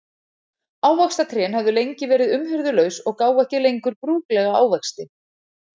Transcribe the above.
Ávaxtatrén höfðu lengi verið umhirðulaus og gáfu ekki lengur brúklega ávexti.